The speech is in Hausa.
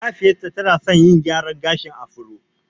Mahaifiyar ta tana san yin gyran gashin afro